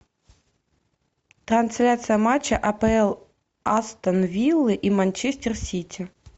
трансляция матча апл астон виллы и манчестер сити